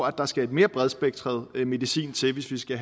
at der skal en mere bredspektret medicin til hvis vi skal